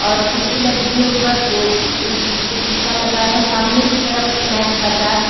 और खिड़की लगी है ऊपर जो जिसपे शीशा लगा है सामने की तरफ स्नैक बाज़ार लिखा है।